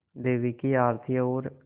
देवी की आरती और